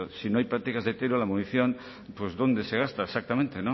si no hay prácticas de tiro la munición dónde se gasta exactamente